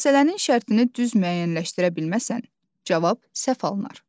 Məsələnin şərtini düz müəyyənləşdirə bilməsən, cavab səhv alınar.